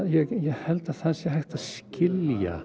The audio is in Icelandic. held að það sé hægt að skilja